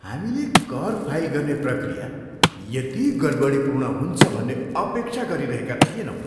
हामीले कर फाइल गर्ने प्रक्रिया यति गडबडीपूर्ण हुन्छ भन्ने अपेक्षा गरिरहेका थिएनौँ!